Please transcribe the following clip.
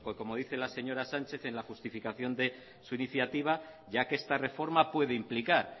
porque como dice la señora sanchez en la justificación de su iniciativa ya que esta reforma pueda implicar